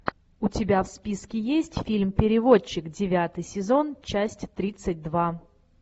у тебя в списке есть фильм переводчик девятый сезон часть тридцать два